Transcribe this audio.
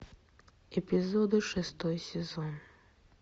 эпизоды шестой сезон